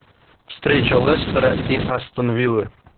встреча лестера и астон виллы